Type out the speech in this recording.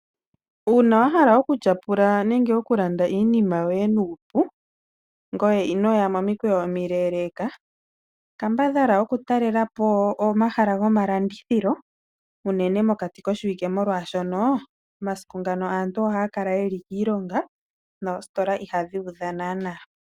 Uuna wahala oku tyapula nenge wahala oku landa iinima yoye nuupu, ngoye ito yi momikweyo omile, kambadhala oku talelapo omahala gomalandithilo mokati koshiwike oshoka momasiku ngano aantu oha yakala yeli kiilonga noositola iha dhikala dhu udha.